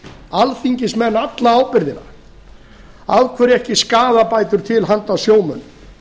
alþingismenn alla ábyrgðina af hverju ekki skaðabætur til handa sjómönnum